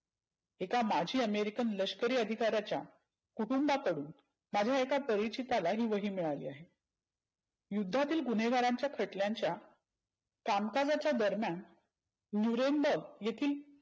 एका माजी अमेरिकन लष्करी अधिकार्याच्या कुटूंबा कडून माझ्या एका परिचीताला ही वही मिळाली आहे. युद्धातील गुन्हेगारांच्या खटल्याच्या कामकाजाच्या दरम्यान मुरंब येथील